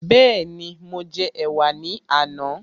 Bẹ́ẹ̀ni, mo jẹ ẹ̀wà ní àná